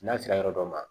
N'a sera yɔrɔ dɔ ma